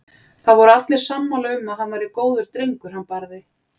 Það voru allir sammála um að hann væri góður drengur hann Barði.